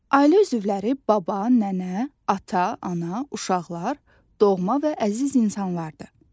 Ailə üzvləri: baba, nənə, ata, ana, uşaqlar, doğma və əziz insanlardır.